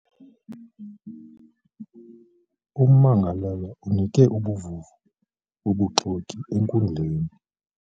Ummangalelwa unike ubuvuvu bobuxoki enkundleni.